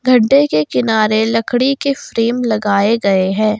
गड्ढे के किनारे लकड़ी के फ्रेम लगाए गए हैं।